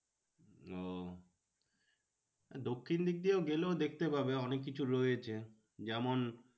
ওহ দক্ষিণ দিক দিয়ে গেলেও দেখতে পাবে অনেক কিছু রয়েছে। যেমন